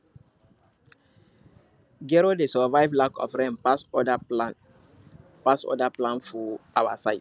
gero dey survive lack of rain pass other plants pass other plants for our side